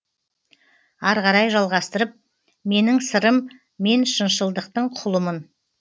арғарай жалғастырып менің сырым мен шыншылдықтың құлымын